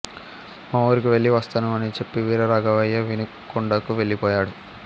మా ఊరికి వెళ్ళి వస్తాను అని చెప్పి వీరరాఘవయ్య వినుకొండకు వెళ్ళిపోయాడు